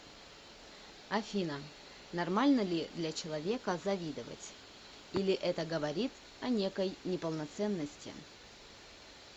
афина нормально ли для человека завидовать или это говорит о некой неполноценности